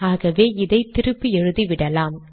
ஆகவே இதை திருப்பி எழுதிவிடலாம்